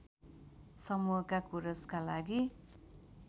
समूहका कोरसका लागि